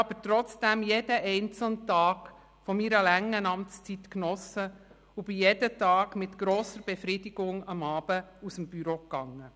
Trotzdem habe ich jeden einzelnen Tag meiner langen Amtszeit genossen und habe mein Büro jeden Abend mit grosser Befriedigung verlassen.